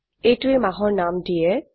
এইটোৱে মাহৰ নাম দিয়ে